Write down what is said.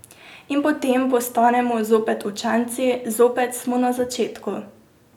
In potem postanemo zopet učenci, zopet smo na začetku.